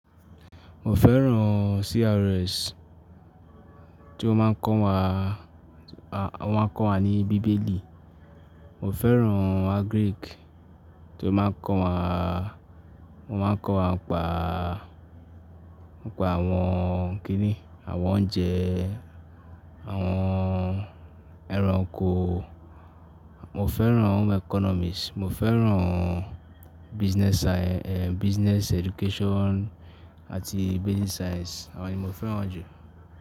Mo fẹ́ràn CRS, tí ó máa ń kọ́ wa, wọ́n máa ń kọ́ wa ní bíbélì. Mo fẹ́ràn agric, tí ó máa ń kọ́ wa, wọ́n máa ń kọ́ wa nípa, nípa àwọn kíni, àwọn oúnjẹ, àwọn ẹranko. Mo fẹ́ràn home economics, mo fẹ́ràn business sci-- ehn, business education àti basic science, àwọn ni mo fẹ́ràn jù.